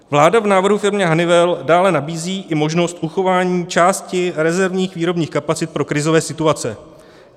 Vláda v návrhu firmě Honeywell dále nabízí i možnost uchování části rezervních výrobních kapacit pro krizové situace.